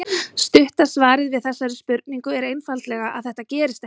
Stutta svarið við þessari spurningu er einfaldlega að þetta gerist ekki.